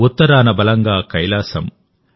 ఉత్తరాన బలంగా కైలాసం